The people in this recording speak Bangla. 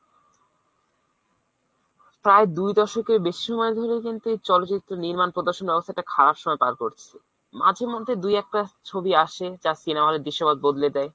প্রায় দুই দশকের বেশি সময় ধরেই কিন্তু এই চলচিত্র নির্মাণ প্রদর্শন ব্যবস্থা এই খারাপ সময় পার করছে। মাঝে মধ্যে দুই একটা ছবি আসে যা cinema hall এর দুর্সময় বদলে দেয়